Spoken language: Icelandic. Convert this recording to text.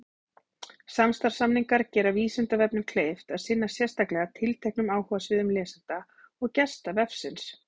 Samstarfssamningar gera Vísindavefnum kleift að sinna sérstaklega tilteknum áhugasviðum lesenda og gesta vefsins.